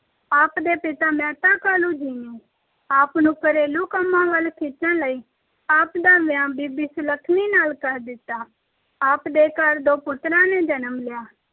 ਆਪ ਦੇ ਪਿਤਾ, ਮਹਿਤਾ ਕਾਲੂ ਜੀ ਨੇ। ਆਪ ਨੂੰ ਘਰੇਲੂ ਕੰਮਾਂ ਵੱਲ ਖਿੱਚਣ ਲਈ ਆਪ ਦਾ ਵਿਆਹ ਬੀਬੀ ਸੁਲੱਖਈ ਨਾਲ ਕਰ ਦਿੱਤਾ। ਆਪ ਦੇ ਘਰ ਦੋ ਪੁੱਤਰਾਂ ਨੇ ਜਨਮ ਲਿਆ-